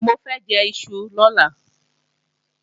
Mo fẹ́ jẹ́ iṣu lọ́la